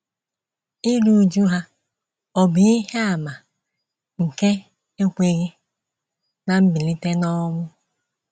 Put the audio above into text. Iru újú ha ọ̀ bụ ihe àmà nke ekweghị ná mbilite n’ọnwụ?